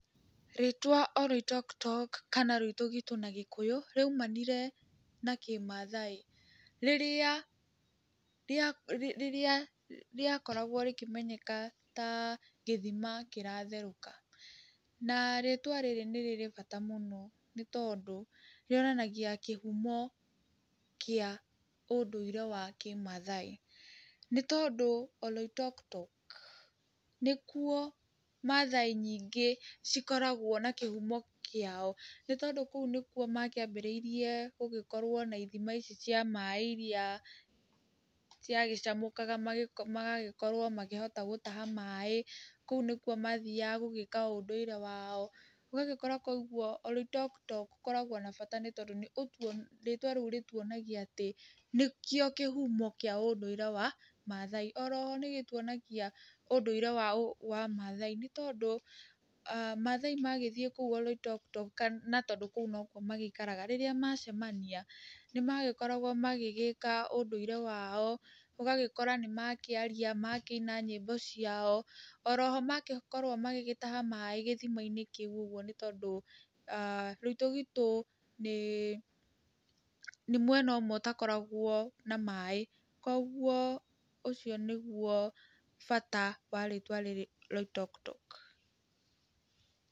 Rĩĩtwa Oloitoktok kana rũitũgitũ na Gĩkũyũ rwaimanire na Kĩmathai, rĩrĩa rĩa rĩrĩa rĩakoragwo rĩkĩmenyeka ta gĩthima kĩratherũka, na rĩĩtwa rĩrĩ nĩ rĩrĩ bata mũno, nĩ tondũ rĩonanagia kĩhumo kĩa ũndũire wa Kĩmathai, nĩ tondũ Oloiktoktok nĩkwo Mathai nyingĩ cikoragwo na kĩhumo kĩao, nĩ tondũ kũu nĩkuo makĩambĩrĩiria kgũkorwo na ithima ici cia maĩ, iria ciagĩcamũkaga magagĩkorwo makĩhota gũtaha maĩ, kũu nĩkwo mathiaga gũgĩka ũndũire wao, ũgagĩkora kwoiguo Oloitoktok ũkoragwo na bata nĩ tondũ ũ rĩĩtwa rĩu rĩtwonagia atĩ nĩkĩo kĩhumo kĩa ũndũire wa Mathai, oroho nĩ gĩtuonagia ũndũire wa ũmathai, nĩ tondũ aah Mathai magĩthiĩ kũu Oloitoktok kana na tondũ kũu nokuo maikaraga rĩrĩa macemania, nĩ magĩkoragwo magĩgĩka ũndũire wao, ũgagĩkora nĩ makĩaria, makĩina nyĩmbo ciao, oroho magĩkorwo magĩgĩtaha maĩ gĩthima-inĩ kĩu ũgwo nĩ tondũ aah rũitũgitũ nĩ nĩ mwena ũmwe ũtakoragwo na maĩ, koguo ũcio nĩguo bata wa rĩĩtwa rĩrĩ Loitoktok.